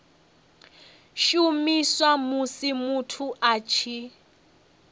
shumiswa musi muthu a tshi